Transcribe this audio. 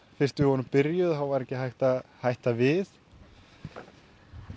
fyrst við vorum byrjaðir var ekki hægt að hætta við þið